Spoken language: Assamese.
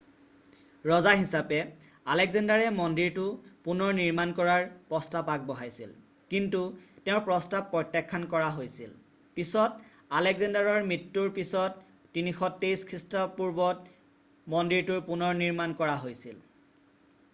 ৰজা হিচাপে আলেক্সেণ্ডাৰে মন্দিৰটো পুনৰ নিৰ্মাণ কৰাৰ প্ৰস্তাৱ আগবঢ়াইছিল কিন্তু তেওঁৰ প্ৰস্তাৱ প্ৰত্যাখ্যান কৰা হৈছিল পিছত আলেক্সেণ্ডাৰৰ মৃত্যুৰ পিছত 323 খ্ৰীষ্টপূৰ্বত মন্দিৰটোৰ পুনৰনিৰ্মাণ কৰা হৈছিল